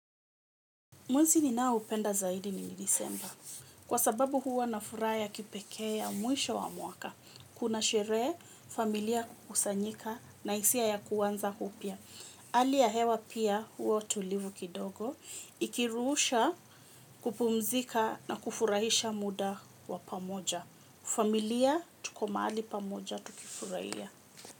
Mwezi ninao upenda zaidi ni nilisemba. Kwa sababu huwa na furaa ya kipekee ya mwisho wa mwaka. Kuna shere familia kusanyika na isia ya kuanza upia. Hali ya hewa pia huwa tulivu kidogo. Ikiruusha kupumzika na kufurahisha muda wa pamoja. Familia tuko maali pamoja tukifurahia.